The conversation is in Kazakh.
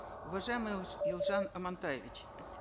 уважаемый ельжан амантаевич